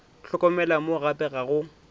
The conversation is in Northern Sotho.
hlokomela mo gape ga go